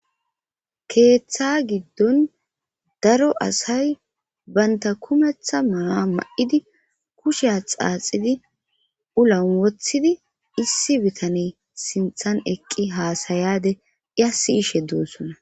Keeththa giddon daro asay banta kumetha ma'a ma'idi kushea xaaxidi ulan wothidi issi bitane sinthan eqqi haasayade iya siyishe doossona.